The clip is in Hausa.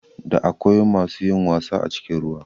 Da akwai masu yin wasa a cikin ruwa